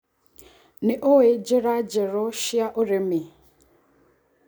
Nĩũĩ njĩra njerũ cia ũrĩmi.